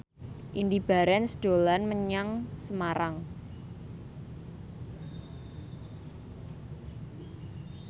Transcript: Indy Barens dolan menyang Semarang